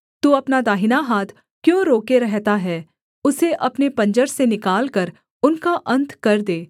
तू अपना दाहिना हाथ क्यों रोके रहता है उसे अपने पंजर से निकालकर उनका अन्त कर दे